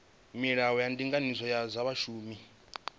milayo ya ndinganyiso ya zwa vhashumi